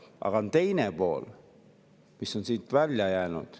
Aga teine pool on siit välja jäänud.